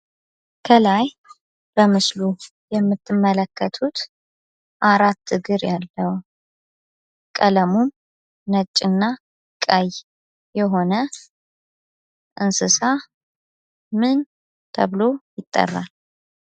ከላይ በምስሉ የምትመለከቱት አራት እግር ያለው ቀለሙም ነጭ እና ቀይ የሆነ እንስሳ ምን ተብሎ ይጠራል?